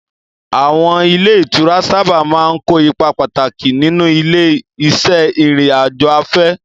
Àwọn ilé ìtura sábà máa ń kó ipa pàtàkì nínú ilé-iṣẹ́ ìrìn-àjò afẹ́.